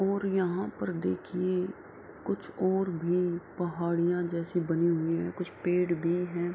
और यहाँ पर देखिये कुछ और भी पहाड़ियाँ जैसी बनी हुई हैं । कुछ पेड़ भी है ।